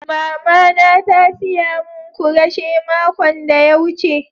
Mama na ta siya mun kureshe makon de ya wuce.